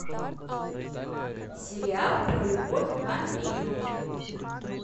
сериал про любовь к вампиру